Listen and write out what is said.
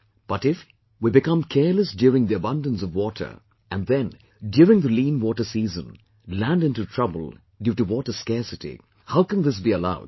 But if we become careless during the abundance of water and then during the lean water season land into trouble due to water scarcity, how can this be allowed